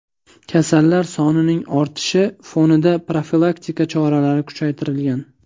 Kasallar sonining ortishi fonida profilaktika choralari kuchaytirilgan.